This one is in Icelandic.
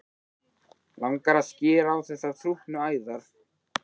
Langar að skera á þessar þrútnu æðar.